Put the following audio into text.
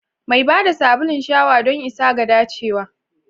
Mai ba da sabulun shawa don isa ga dacewa.